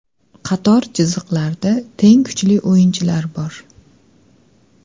Qator chiziqlarda teng kuchli o‘yinchilar bor.